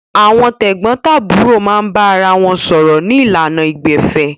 Àwọn tẹ̀gbọ́ntàbúrò máa ń bára wọn sọ̀rọ̀ ní ìlànà ìgbẹ̀fẹ́